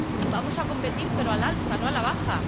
Vamos a competir, pero al alza, no a la baja.